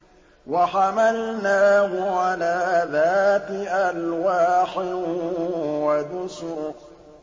وَحَمَلْنَاهُ عَلَىٰ ذَاتِ أَلْوَاحٍ وَدُسُرٍ